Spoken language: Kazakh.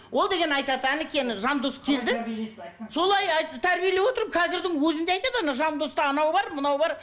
ол деген айтады жандос келді солай тәрбиелеп отырмын қазірдің өзінде айтады нау жандоста анау бар мынау бар